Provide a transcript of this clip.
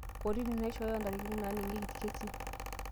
Kotini naishooyio ndarikini naaningieki ilkesin